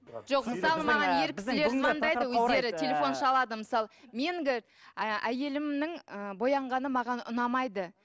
жоқ мысалы маған ер кісілер звондайды өздері телефон шалады мысалы әйелімнің ы боянғаны маған ұнамайды